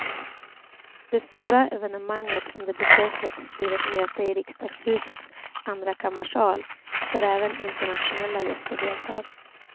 Det stora evenemanget under besöket blir ett möte i riksdagshusets andrakammarsal, där även internationella gäster deltar.